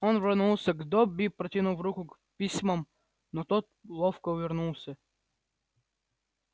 он рванулся к добби протянув руку к письмам но тот ловко увернулся